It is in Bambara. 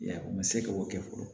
Ya u ma se k'o kɛ fɔlɔ